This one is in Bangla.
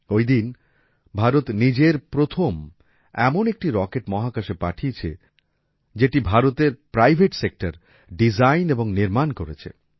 ঐদিন ভারত নিজের প্রথম এমন একটি রকেট মহাকাশে পাঠিয়েছে যেটা ভারতের প্রাইভেট সেক্টর ডিজাইন এবং নির্মাণ করেছে